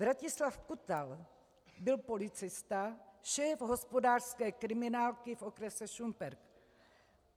Vratislav Kutal byl policista, šéf hospodářské kriminálky v okrese Šumperk.